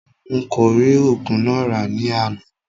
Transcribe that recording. N kò rí oògùn náà rà ní àná